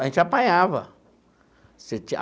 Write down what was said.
A gente apanhava.